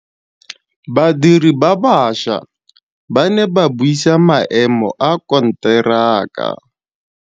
Badiri ba baša ba ne ba buisa maêmô a konteraka.